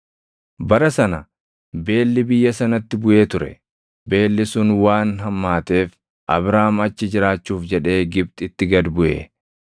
Bara sana beelli biyya sanatti buʼee ture; beelli sun waan hammaateef Abraam achi jiraachuuf jedhee Gibxitti gad buʼe.